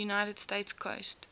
united states coast